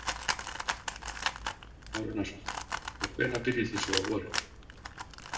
Kristján Már Unnarsson: Og hvenær byrjið þið svo á vorin?